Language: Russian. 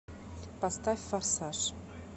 поставь форсаж